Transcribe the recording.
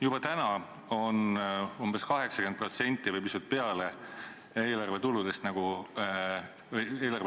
Juba täna on umbes 80% või pisut rohkem eelarve kuludest ette määratud ...